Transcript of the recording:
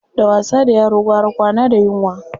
Da wasa da yaro gwara kwana da yunwa.